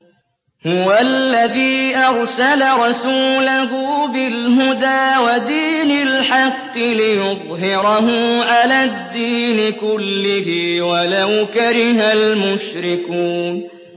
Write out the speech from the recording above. هُوَ الَّذِي أَرْسَلَ رَسُولَهُ بِالْهُدَىٰ وَدِينِ الْحَقِّ لِيُظْهِرَهُ عَلَى الدِّينِ كُلِّهِ وَلَوْ كَرِهَ الْمُشْرِكُونَ